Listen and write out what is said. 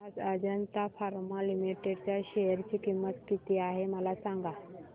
आज Ajanta pharma limited च्या share ची किंमत किती आहे मला सांगा